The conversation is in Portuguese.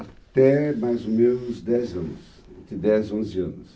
Até mais ou menos dez anos, entre dez e onze anos.